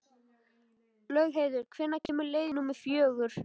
Laugheiður, hvenær kemur leið númer fjögur?